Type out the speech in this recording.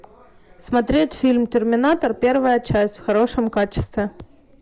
смотреть фильм терминатор первая часть в хорошем качестве